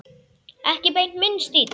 Ekki beint minn stíll.